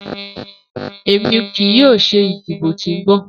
Emi kii yoo ṣe idibo ti nbọ.